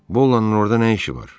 Bolanın orda nə işi var?